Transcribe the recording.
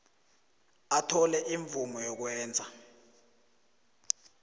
athole imvumo yokwenza